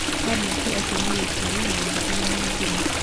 Kadideti acio nĩ Gĩkũri, Wanjikũ na Nyambura.